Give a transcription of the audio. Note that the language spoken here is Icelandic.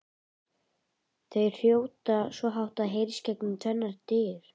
Þau hrjóta svo hátt að það heyrist gegnum tvennar dyr!